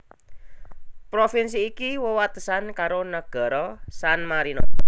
Provinsi iki wewatesan karo nagara San Marino